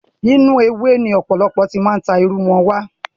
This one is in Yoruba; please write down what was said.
Inú ewé ni ọ̀pọ̀lọpọ̀ ti máa ń ta irú fún wa.